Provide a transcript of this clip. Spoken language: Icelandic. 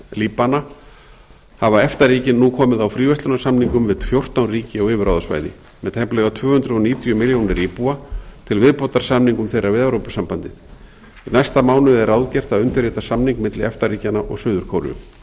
líbana hafa efta ríkin nú komið á fríverslunarsamningum við fjórtán ríki á yfirráðasvæði með tæplega tvö hundruð níutíu milljónir íbúa til viðbótar samningum þeirra við evrópusambandið í næsta mánuði er ráðgert að undirrita samning milli efta ríkjanna og suður kóreu